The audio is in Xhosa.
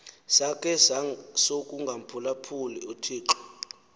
sakhe sokungamphulaphuli uthixo